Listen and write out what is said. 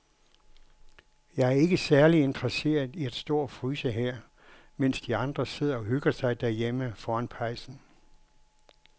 Jeg er ikke særlig interesseret i at stå og fryse her, mens de andre sidder og hygger sig derhjemme foran pejsen.